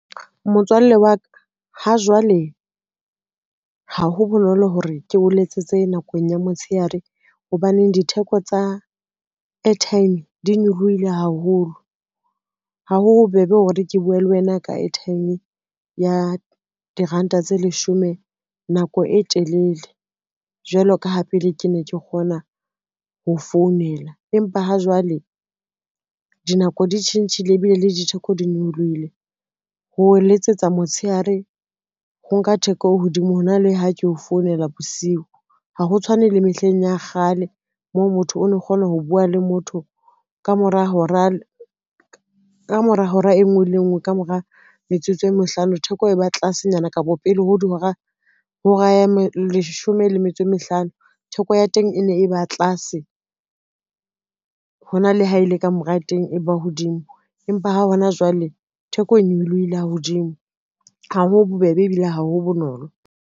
Motswalle wa ka ha jwale ha ho bonolo hore ke o letsetse nakong ya motshehare, hobaneng ditheko tsa airtime di nyolohile haholo. Ha ho bobebe hore ke bue le wena ka airtime ya diranta tse leshome nako e telele, jwalo ka ha pele ke ne ke kgona ho founela. Empa ha jwale dinako di tjhentjhile ebile le ditheko di nyolohile, ho letsetsa motshehare ho nka theko hodimo ho na le ha ke o founela bosiu, ha ho tshwane le mehleng ya kgale moo motho o no kgona ho bua le motho ka mora hora e ngwe le e ngwe ka mora metsotso e mehlano theko e ba tlase, nyana kapa pele ho hora ya leshome le metso e mehlano theko ya teng e ne e ba tlase, ho na le ha e le ka mora teng e ba hodimo, empa ha hona jwale theko e nyolohile ha hodimo, ha ho bobebe ebile ha ho bonolo.